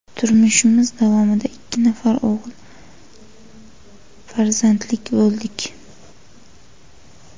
Turmushimiz davomida ikki nafar o‘g‘il farzandli bo‘ldik.